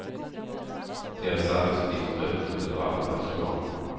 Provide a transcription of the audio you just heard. Deras arbetsuppgifter övertogs av annan personal.